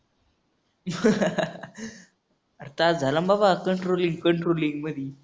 आरं तास झाला ना बाबा controlling controlling मधी.